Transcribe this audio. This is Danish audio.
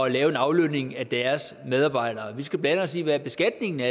at lave en aflønning af deres medarbejdere vi skal blande os i hvad beskatningen af